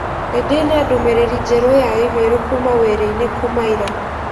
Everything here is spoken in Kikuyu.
Nĩ ndĩ na ndũmĩrĩri njerũ ya i-mīrū kuuma wĩra-inĩ kuuma ĩra.